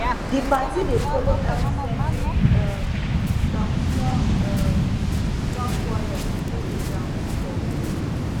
di party dey follow help settle um som small um small quarrel wey dey ground bifor